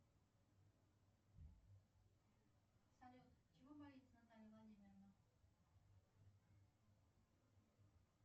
салют чего боится наталья владимировна